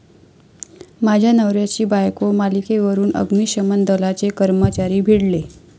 माझ्या नवऱ्याची बायको' मालिकेवरून अग्निशमन दलाचे कर्मचारी भिडले